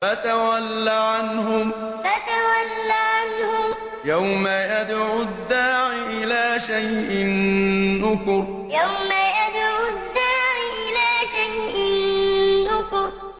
فَتَوَلَّ عَنْهُمْ ۘ يَوْمَ يَدْعُ الدَّاعِ إِلَىٰ شَيْءٍ نُّكُرٍ فَتَوَلَّ عَنْهُمْ ۘ يَوْمَ يَدْعُ الدَّاعِ إِلَىٰ شَيْءٍ نُّكُرٍ